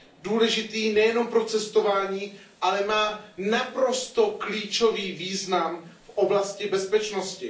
důležitý nejenom pro cestování, ale má naprosto klíčový význam v oblasti bezpečnosti.